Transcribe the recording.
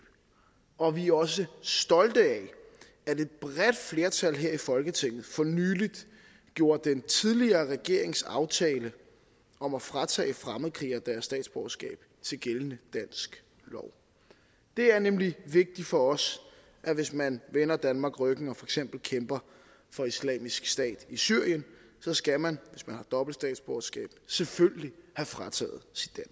og vi er også stolte af at et bredt flertal her i folketinget for nylig gjorde den tidligere regerings aftale om at fratage fremmedkrigere deres statsborgerskab til gældende dansk lov det er nemlig vigtigt for os at hvis man vender danmark ryggen og eksempel kæmper for islamisk stat i syrien skal man hvis man har dobbelt statsborgerskab selvfølgelig have frataget sit